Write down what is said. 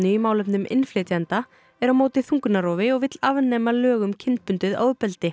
í málefnum innflytjenda er á móti þungunarrofi og vill afnema lög um kynbundið ofbeldi